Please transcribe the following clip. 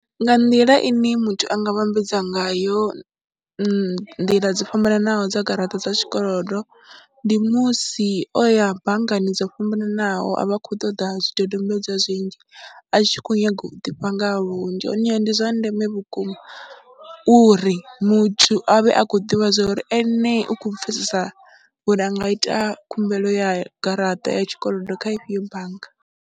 Nga nḓila ine muthu a nga vhambedza ngayo, nḓila dzo fhambananaho dza garaṱa dza zwikolodo, ndi musi o ya banngani dzo fhambananaho a vha khou ṱoḓa zwidodombedzwa zwinzhi, a tshi khou nyaga u ḓivha nga ha vhunzhi ha hone ndi zwa ndeme vhukuma uri muthu a vhe a khou ḓivha zwa uri ene u kho pfhesesa uri a nga ita khumbelo ya garaṱa ya tshikolodo kha ifhio bannga.